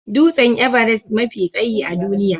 Dutsen Everest mafi tsayi a duniya